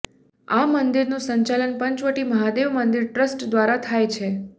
આ મંદિરનું સંચાલન પંચવટી મહાદેવ મંદિર ટ્રસ્ટ દ્વારા થાય છે